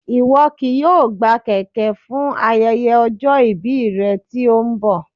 Ìwọ kì yóò gbà kèké fún ayẹyẹ ọjọ́ ìbí rẹ tí ó ń bọ̀